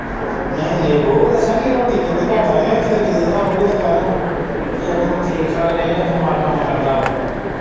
ਓ ਨਈ-ਨਈ ਬਓ ਦੱਸਾਂ ਕਿ ਰੋਟੀ ਜਿੰਨੀ ਘੱਟ ਖਾਏਗਾ ਇੱਕ ਤਾਂ ਨੀਂਦ ਨਾ ਆਊਗੀ ਦੁਪਹਿਰਾ ਨੂੰ ਇੱਕ ਤੂੰ ਠੀਕ-ਠਾਕ ਰਹੇਗਾ ਦਿਮਾਗ ਕੰਮ ਕਰਦਾ ਵਾਂ।